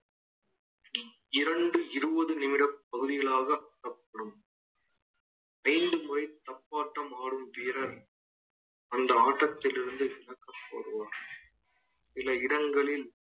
இரண்டு இருபது நிமிட பகுதிகளாக காணப்படும் தப்பாட்டம் ஆடும் வீரர் அந்த ஆட்டத்திலிருந்து விலக்கு படுவான் சில இடங்களில்